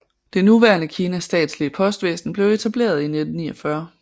Det nuværende Kinas statslige postvæsen blev etableret i 1949